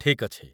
ଠିକ୍ ଅଛି